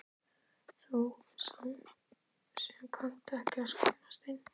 Þú sem kannt ekki að skammast þín.